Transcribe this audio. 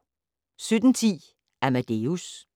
17:10: Amadeus